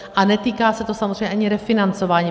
A netýká se to samozřejmě ani refinancování.